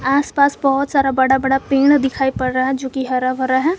आसपास बहुत सारा बड़ा बड़ा पेड़ दिखाई पड़ रहा है जो की हरा भरा है।